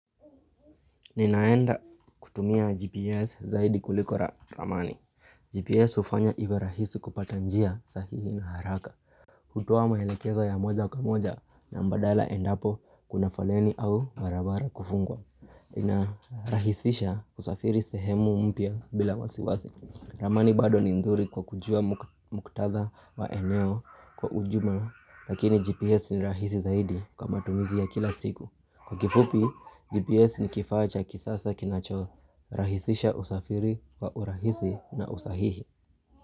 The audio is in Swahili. Ninaenda kutumia GPS zaidi kuliko ramani. GPS hufanya iwe rahisi kupata njia sahihi na haraka hutoa maelekezo ya moja kwa moja na mbadala endapo kuna foleni au barabara kufungwa inarahisisha kusafiri sehemu mpya bila wasiwasi. Ramani bado ni nzuri kwa kujua muktadha wa eneo kwa ujumla Lakini GPS ni rahisi zaidi kwa matumizi ya kila siku. Kwa kifupi, GPS ni kifaa cha kisasa kinachorahisisha usafiri wa urahisi na usahihi.